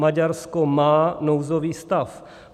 Maďarsko má nouzový stav.